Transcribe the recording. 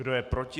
Kdo je proti?